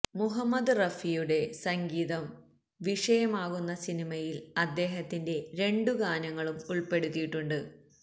മുഹമ്മദ് റഫിയുടെ സംഗീതം വിഷയമാകുന്ന സിനിമയിൽ അദ്ദേഹത്തിന്റെ രണ്ടു ഗാനങ്ങളും ഉൾപ്പെടുത്തിയിട്ടുണ്ട്